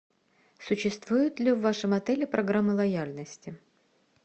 существует ли в вашем отеле программа лояльности